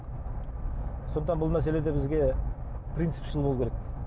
сондықтан бұл мәселеде бізге принципшіл болу керек